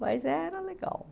Mas era legal.